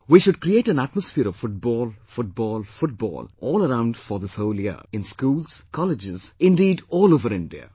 We should create an atmosphere of Football, Football, Football all around for this whole year in schools, colleges, indeed, all over India